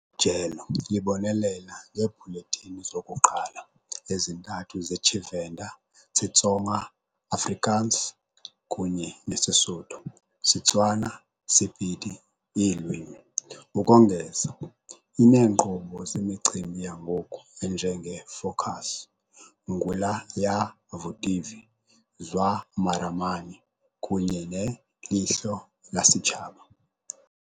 jelo libonelela ngeebhulethini zokuqala ezintathu ze Tshivenda - Xitsonga, Afrikaans, kunye SeSotho - SeTswana - Sepedi iilwimi. Ukongeza, ineenkqubo zemicimbi yangoku enje ngeFokus, Ngula Ya Vutivi, Zwa Maramani kunye neLehlo La Sechaba.